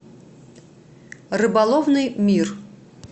рыболовный мир